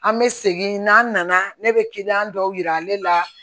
An bɛ segin n'an nana ne bɛ kiliyan dɔw jira ale la